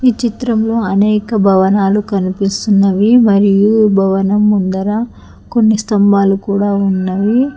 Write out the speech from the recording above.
చిత్రంలో అనేక భవనాలు కనిపిస్తున్నవి మరియు భవనం ముందర కొన్ని స్తంభాలు కూడా ఉన్నాయి.